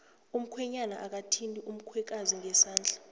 umkhwenyana akamthindi umkhwekazi ngesandla